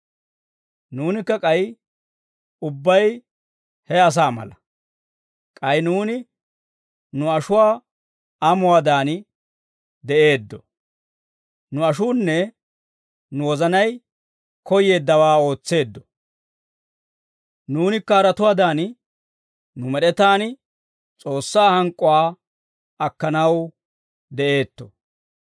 Nuunikka k'ay ubbay he asaa mala; k'ay nuuni nu ashuwaa amuwaadan de'eeddo; nu ashuunne nu wozanay koyyeeddawaa ootseeddo. Nuunikka haratuwaadan, nu med'etaan S'oossaa hank'k'uwaa akkanaw de'eetto.